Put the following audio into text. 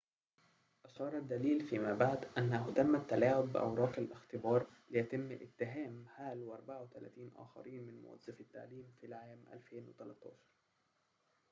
أشار الدليل فيما بعد أنه تم التلاعب بأوراق الاختبار ليتم اتهام هال و34 آخرين من موظفي التعليم في العام 2013